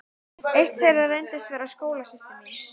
Eitt þeirra reyndist vera skólasystir mín.